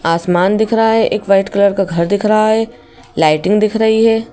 आसमान दिख रहा है एक वाइट कलर का घर दिख रहा है लाइटिंग दिख रही है।